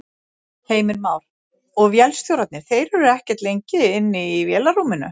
Heimir Már: Og vélstjórarnir, þeir eru ekkert lengi inni í vélarrúminu?